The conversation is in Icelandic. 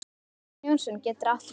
Jón Jónsson getur átt við